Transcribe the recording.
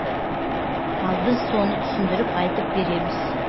ал біз соны түсіндіріп айтып береміз